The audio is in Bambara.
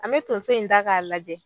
An me tonson in da k'a lajɛ